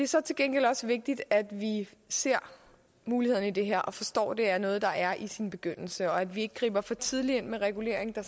så til gengæld også vigtigt at vi ser mulighederne i det her og forstår at det er noget der er i sin begyndelse og at vi ikke griber for tidligt ind med regulering der